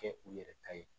Kɛ u yɛrɛ ta ye